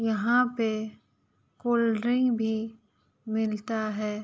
यहाँ पे cold drink भी मिलता है।